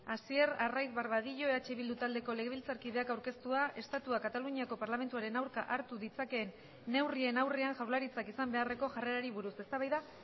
hasier arraiz barbadillo eh bildu taldeko legebiltzarkideak aurkeztua estatuak kataluniako parlamentuaren aurka hartu ditzakeen neurrien aurrean jaurlaritzak izan beharreko jarrerari buruz eztabaida